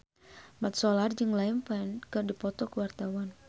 Mat Solar jeung Liam Payne keur dipoto ku wartawan